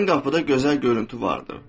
Ön qapıda gözəl görüntü vardır.